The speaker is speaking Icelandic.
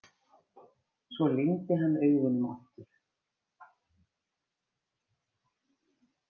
Svo lygndi hann augunum aftur.